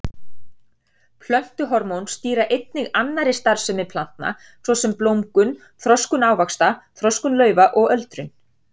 Plöntuhormón stýra einnig annarri starfsemi plantna svo sem blómgun, þroskun ávaxta, þroskun laufa og öldrun.